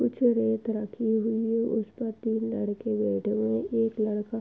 कुछ रेत रखी हुई है। उसपर तीन लड़के बैठे हुए हैं। एक लड़का --